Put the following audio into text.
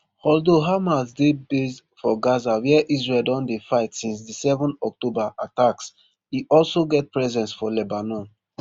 although hamas dey based for gaza wia israel don dey fight since di seven october attacks e also get presence for lebanon